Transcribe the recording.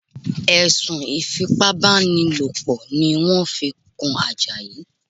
Ẹ̀sùn Ìfipábánilòpọ̀ ni wọ́n fi kan Àjàyí